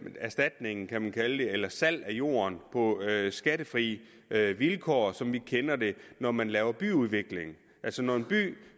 erstatninger kan man kalde det eller kunne sælge jorden på skattefri vilkår som vi kender det når man laver byudvikling altså når en by